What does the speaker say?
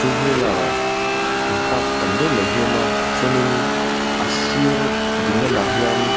two wheeler in park tam deuh mai hi a awm a chuanin a sir ding lam ah hian--